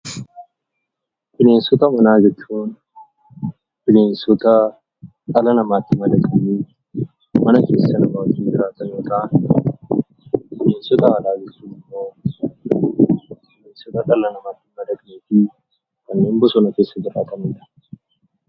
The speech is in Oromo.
Bineensota manaa jechuun bineensota dhala namaatti madaqanii mana keessa nama wajjin jiraatan yemmuu ta'an, bineensota alaa jechuun immoo bineensota dhala namaatti hin madaqnee fi bosona keessa jiraatanidha.